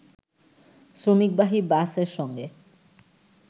শ্রমিকবাহী বাসের সঙ্গে